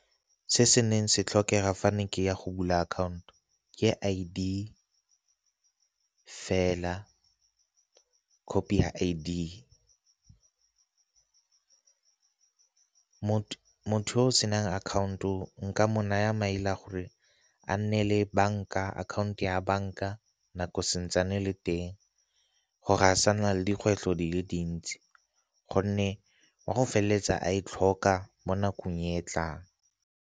Se se neng se tlhokega fane ke ya go bula akhaonto ke I_D fela, khophi I_D. Motho o senang account-o nka mo naya maele a gore a nne le banka, akhaonto ya banka nako santsane le teng gore a sa nna le dikgwetlho di le dintsi gonne o a go feleletsa a e tlhoka mo nakong e e tlang.